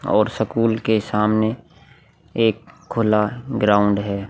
और सकूल के सामने एक खुला ग्राउंड है।